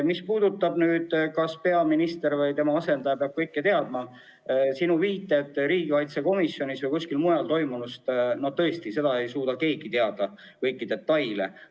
Mis puudutab seda, kas peaminister või tema asendaja peab kõike teadma – viitasid riigikaitsekomisjonis ja kuskil mujal toimunule –, no tõesti, mitte keegi ei suuda kõiki neid detaile teada.